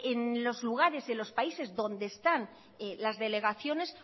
en los lugares y en los países donde están las delegaciones